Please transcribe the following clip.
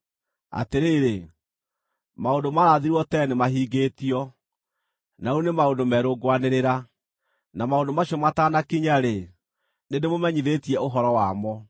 Atĩrĩrĩ, maũndũ maarathirwo tene nĩmahingĩtio, na rĩu nĩ maũndũ merũ ngwanĩrĩra; na maũndũ macio matanakinya-rĩ, nĩndĩmũmenyithĩtie ũhoro wamo.”